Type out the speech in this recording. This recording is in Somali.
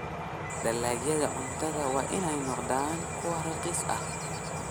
Dalagyada cuntadu waa inay noqdaan kuwo raqiis ah.